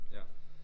Ja